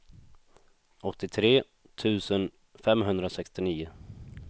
åttiotre tusen femhundrasextionio